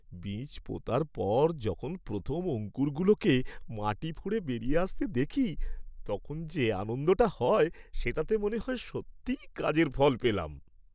বীজ পোঁতার পর যখন প্রথম অঙ্কুরগুলোকে মাটি ফুঁড়ে বেরিয়ে আসতে দেখি তখন যে আনন্দটা হয় সেটাতে মনে হয় সত্যিই কাজের ফল পেলাম।